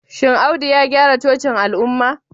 shin Audu ya gyara cocin al'umma?.